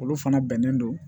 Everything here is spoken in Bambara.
Olu fana bɛnnen don